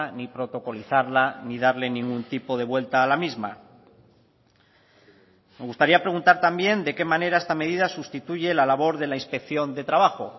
ni protocolizarla ni darle ningún tipo de vuelta a la misma me gustaría preguntar también de qué manera esta medida sustituye la labor de la inspección de trabajo